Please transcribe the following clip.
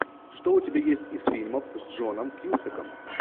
что у тебя есть из фильмов с джоном кьюсаком